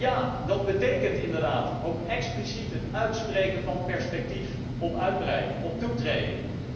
En ja, dat betekent inderdaad ook het expliciet uitspreken van perspectief op uitbreiding, op toetreding.